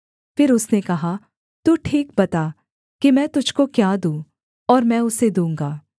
फिर उसने कहा तू ठीक बता कि मैं तुझको क्या दूँ और मैं उसे दूँगा